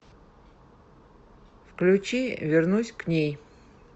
включи вернусь к ней